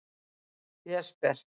Jesper